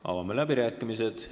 Avame läbirääkimised.